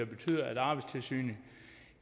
betyder at arbejdstilsynet